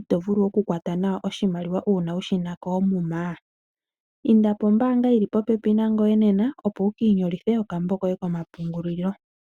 ito vulu okukwata nawa oshimaliwa uuna wushina koomuma? Inda pombaanga yili popepi nangoye nena opo wuki inyolithe okambo koye komapungulilo.